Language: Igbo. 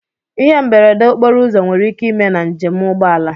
Ihe mberede okporo ụzọ nwere ike ime na nje m ụgbọala.